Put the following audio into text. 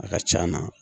A ka c'an na